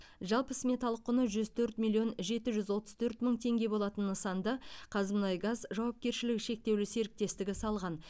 жалпы сметалық құны жүз төрт миллион жеті жүз отыз төрт мың теңге болатын нысанды қазмұнайгаз жауапкершілігі шектеулі серіктестігі салған